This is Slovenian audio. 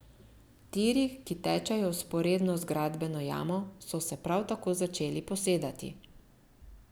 Tiri, ki tečejo vzporedno z gradbeno jamo, so se prav tako začeli posedati.